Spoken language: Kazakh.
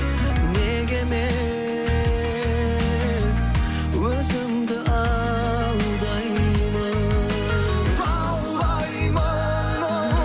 неге мен өзімді алдаймын лаулаймын